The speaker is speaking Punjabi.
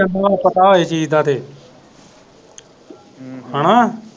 ਜੇ ਪਤਾ ਹੋਵੇ ਚੀਜ਼ ਦਾ ਤੇ ਹੈਨਾ।